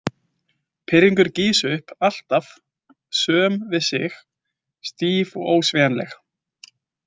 Pirringurinn gýs upp, alltaf söm við sig, stíf og ósveigjanleg.